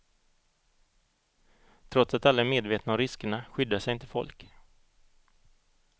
Trots att alla är medvetna om riskerna skyddar sig inte folk.